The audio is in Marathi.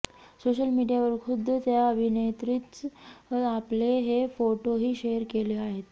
सोशल मीडियावर खुद्द त्या अभिनेत्रीच आपले हे फोटोही शेअर केले आहेत